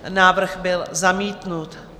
Návrh byl zamítnut.